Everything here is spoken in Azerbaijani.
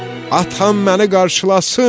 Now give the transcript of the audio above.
Atam məni qarşılasın!